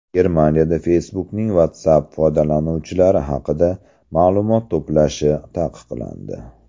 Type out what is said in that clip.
Germaniyada Facebook’ning WhatsApp foydalanuvchilari haqida ma’lumot to‘plashi taqiqlandi.